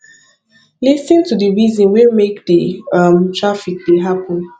lis ten to the reason wey make di um traffic dey happen